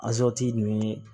nin